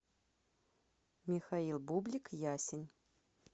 михаил бублик ясень